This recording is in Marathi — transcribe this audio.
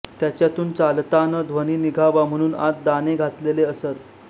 त्याच्यातून चालतान ध्वनी निघावा म्हनून आत दाने घातलेले असत